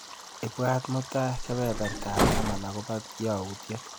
Ibwatwa mutai kebebertap taman akobo yautyet.